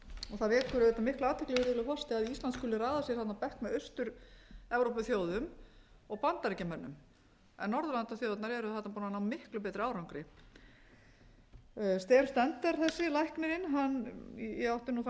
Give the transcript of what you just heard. það vekur auðvitað mikla athygli virðulegur forseti að ísland skuli raða sér þarna á bekk með austur evrópuþjóðum og bandaríkjamönnum en norðurlandaþjóðirnar eru þarna búnar að ná miklu betri árangri steen stender þessi læknirinn hann ég átti nú þann